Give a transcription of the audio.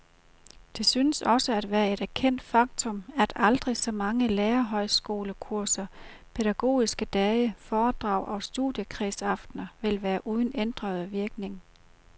Det synes også at være et erkendt faktum, at aldrig så mange lærerhøjskolekurser, pædagogiske dage, foredrag og studiekredsaftener vil være uden ændrende virkning.